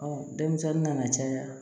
denmisɛnnin nana caya